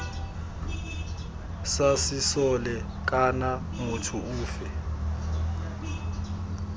sa sesole kana motho ofe